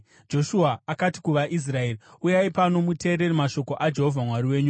Joshua akati kuvaIsraeri, “Uyai pano muteerere mashoko aJehovha Mwari wenyu.